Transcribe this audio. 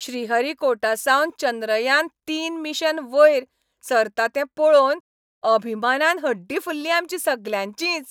श्रीहरीकोटासावन चंद्रयान तीन मिशन वयर सरता तें पळोवन अभिमानान हड्डीं फुल्लीं आमचीं सगल्यांचींच.